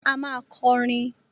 A máa kọrin!